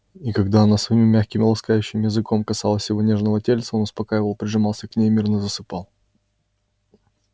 и когда она своим мягким и ласкающим языком касалась его нежного тельца он успокаивал прижимался к ней мирно засыпал